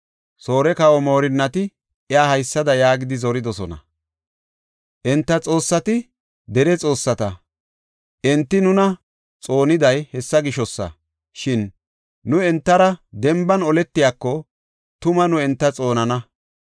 Soore kawa moorinnati iya haysada yaagidi zoridosona; “Enta xoossati dere xoossata; enti nuna xooniday hessa gishosa. Shin nu entara denban oletiyako tuma nu enta xoonana.